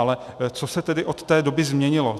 Ale co se tedy od té doby změnilo?